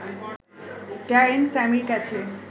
Darren স্যামির ক্যাচে